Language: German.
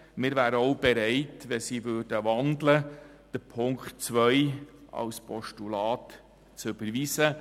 Wir wären auch bereit, die Ziffer 2 zu überweisen, falls diese in ein Postulat umgewandelt würde.